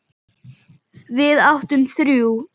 Við áttum þrjú.